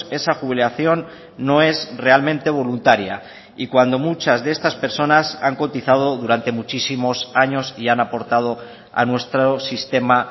esa jubilación no es realmente voluntaria y cuando muchas de estas personas han cotizado durante muchísimos años y han aportado a nuestro sistema